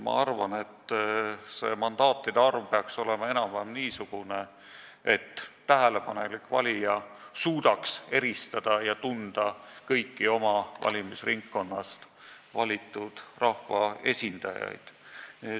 Ma arvan, et mandaatide arv peaks olema enam-vähem niisugune, et tähelepanelik valija suudaks eristada ja tunda kõiki oma valimisringkonnast valitud rahvaesindajaid.